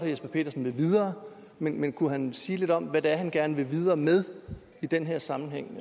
jesper petersen vil videre men kunne han sige lidt om hvad det er han gerne vil videre med i den her sammenhæng